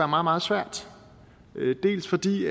meget meget svært dels fordi